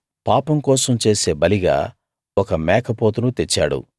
పాపం కోసం చేసే బలిగా ఒక మేకపోతును తెచ్చాడు